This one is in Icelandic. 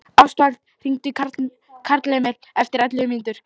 Ástvald, hringdu í Karlemil eftir ellefu mínútur.